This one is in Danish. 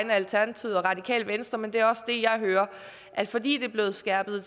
af alternativet og radikale venstre men det er det jeg hører at fordi det er blevet skærpet